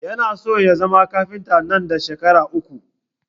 Yana so ya zama kafinta nan da shekaru uku